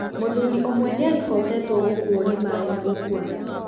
Mũthuri ũmwe nĩaribotetwo gũkũwo nĩ maĩ na gũkua.